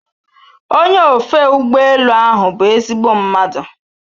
Onye ofe ụgbọ elu ahụ bụ ezigbo mmadụ